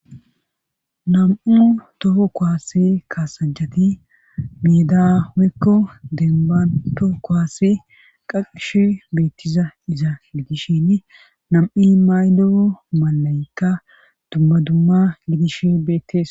Nam'u toho koase kaasajati midawoykko dembanto koaase qaqishe beettiza iza gidishshin nam'i maylo malaykka dumma dumma gidishe bettes